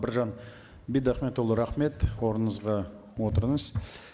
біржан бидахметұлы рахмет орныңызға отырыңыз